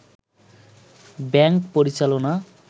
bank পরিচালনা